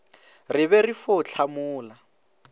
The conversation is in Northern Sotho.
re be re fo hlamola